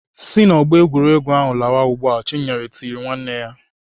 "Si n'ọgbọ egwuregwu a lawa ugbu a!" Chinyere tiri nwanne ya.